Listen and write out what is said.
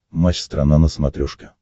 матч страна на смотрешке